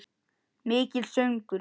Mikill söngur.